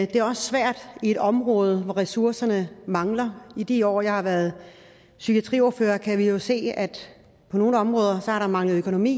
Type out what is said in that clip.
det er også svært i et område hvor ressourcerne mangler i de år jeg har været psykiatriordfører kan vi jo se at på nogle områder har der manglet økonomi